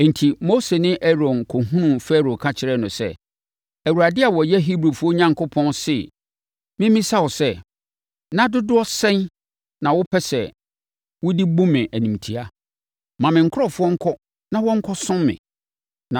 Enti, Mose ne Aaron kɔhunuu Farao ka kyerɛɛ no sɛ, “ Awurade a ɔyɛ Hebrifoɔ Onyankopɔn se memmisa wo sɛ, ‘Nna dodoɔ sɛn na wopɛ sɛ wode bu me animtia? Ma me nkurɔfoɔ nkɔ na wɔnkɔsom me.